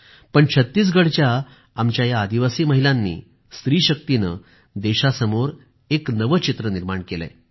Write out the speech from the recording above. परंतु छत्तीसगढच्या आमच्या या आदिवासी महिलांनी स्त्रीशक्तीने देशासमोर एक नवे चित्र निर्माण केले आहे